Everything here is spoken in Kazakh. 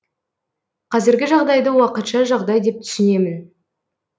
қазіргі жағдайды уақытша жағдай деп түсінемін